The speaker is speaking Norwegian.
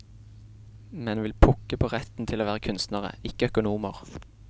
Menn vil pukke på retten til å være kunstnere, ikke økonomer.